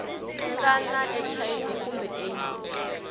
nga na hiv kumbe aids